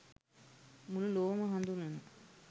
මුළු ලොවම හඳුනන